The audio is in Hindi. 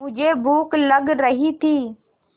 मुझे भूख लग रही थी